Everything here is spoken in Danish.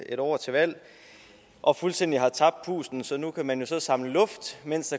et år til valg og fuldstændig har tabt pusten så nu kan man så samle luft mens